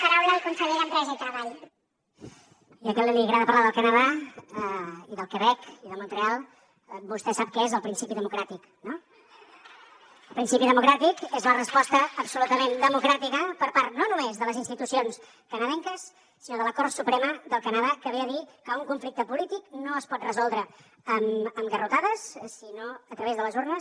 ja que li agrada parlar del canadà i del quebec i de montreal vostè sap que és el principi democràtic no el principi democràtic és la resposta absolutament democràtica per part no només de les institucions canadenques sinó de la cort suprema del canadà que ve a dir que un conflicte polític no es pot resoldre amb garrotades sinó a través de les urnes